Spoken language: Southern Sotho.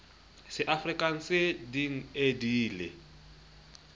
seafrikanse din e di le